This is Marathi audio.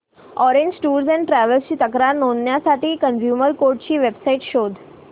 ऑरेंज टूअर्स अँड ट्रॅवल्स ची तक्रार नोंदवण्यासाठी कंझ्युमर कोर्ट ची वेब साइट शोध